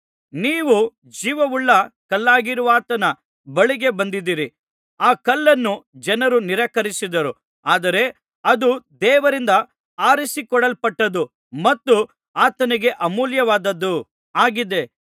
ನೀವು ಜೀವವುಳ್ಳ ಕಲ್ಲಾಗಿರುವಾತನ ಬಳಿಗೆ ಬಂದಿದ್ದೀರಿ ಆ ಕಲ್ಲನ್ನು ಜನರು ನಿರಾಕರಿಸಿದರು ಆದರೆ ಅದು ದೇವರಿಂದ ಆರಿಸಿಕೊಳ್ಳಲ್ಪಟ್ಟದು ಮತ್ತು ಆತನಿಗೆ ಅಮೂಲ್ಯವಾದದ್ದು ಆಗಿದೆ